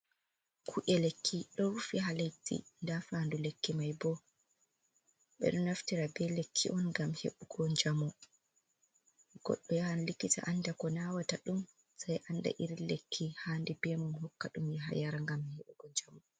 Ku’e lekki ɗo rufi ha leddi, nda fandu lekki mai bo ɓeɗo naftira be lekki on ngam heɓugo jamu, goɗdo yahan likita anda ko nawata ɗum sei anda iri lekki handi be mudum hokka ɗum yaha yara ngam heɓugo jamo.